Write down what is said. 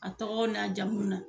A tɔgɔw na jamuw na